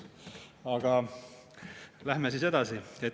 Aga läheme edasi.